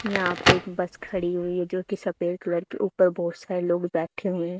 यहा पे एक बस खड़ी हुई है जो कि सफेद कलर की उपर बहोत सारे लोग बैठे हुए है।